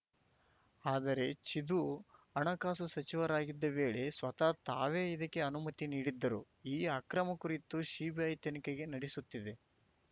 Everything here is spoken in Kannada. ಆದರೆ ಚಿದು ಹಣಕಾಸು ಸಚಿವರಾಗಿದ್ದ ವೇಳೆ ಸ್ವತಃ ತಾವೇ ಇದಕ್ಕೆ ಅನುಮತಿ ನೀಡಿದ್ದರು ಈ ಅಕ್ರಮ ಕುರಿತು ಸಿಬಿಐ ತನಿಖೆಗೆ ನಡೆಸುತ್ತಿದೆ